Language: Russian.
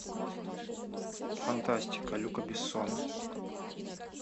фантастика люка бессона